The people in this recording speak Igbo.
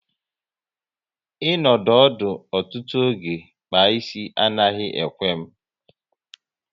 I nọdụ ọdụ ọtụtụ oge kpaa ịsị anaghị ekwe m